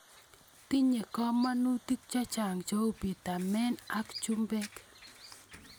Tinye komonutik chechang' cheu pitamen ak chumbik.